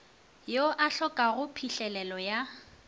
yo a kgopelago phihlelelo ya